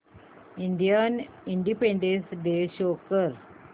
Indian Independence Day show कर